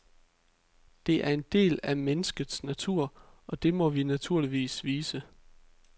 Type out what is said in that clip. Det er en del af menneskets natur, og det må vi naturligvis vise.